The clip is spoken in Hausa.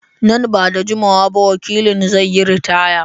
Nan ba da jimawa ba wakilin zai yi ritaya.